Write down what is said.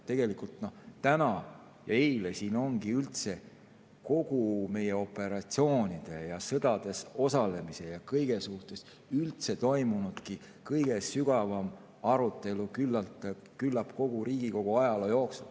Tegelikult täna ja eile ongi siin toimunud kogu meie operatsioonides ja sõdades osalemise ja üldse kõige suhtes kõige sügavam arutelu küllap kogu Riigikogu ajaloo jooksul.